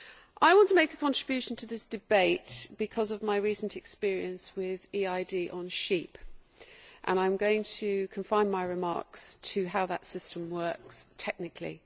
I want to make a contribution to this debate because of my recent experience with EID on sheep, and I am going to confine my remarks to how that system works technically.